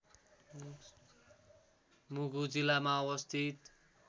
मुगु जिल्लामा अवस्थित